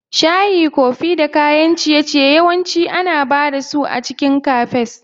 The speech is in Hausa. Shayi, kofi da kayan ciye-ciye yawanci ana ba da su a cikin Cafes.